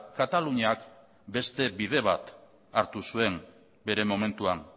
kataluniak beste bide bat hartu zuen bere momentuan